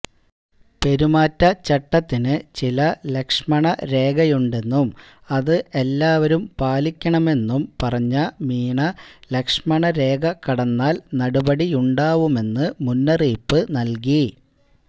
പെരുമാറ്റചട്ടത്തിന് ചില ലക്ഷ്മണ രേഖയുണ്ടെന്നും അത് എല്ലാവരും പാലിക്കണമെന്നും പറഞ്ഞ മീണ ലക്ഷ്മണ രേഖ കടന്നാൽ നടപടിയുണ്ടാവുമെന്ന് മുന്നറിയിപ്പ് നൽകി